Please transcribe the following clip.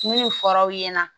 Min fɔra aw ɲɛna